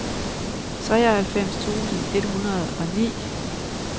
treoghalvfems tusind et hundrede og ni